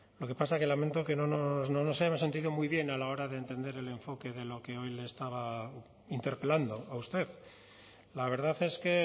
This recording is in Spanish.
lo que pasa que lamento que no nos hemos sentido muy bien a la hora de entender el enfoque de lo que hoy le estaba interpelando a usted la verdad es que